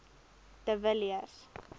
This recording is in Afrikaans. de villiers